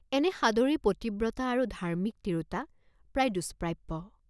এনে সাদৰী পতিব্ৰতা আৰু ধাৰ্ম্মিক তিৰোতা প্ৰায় দুষ্প্ৰাপ্য।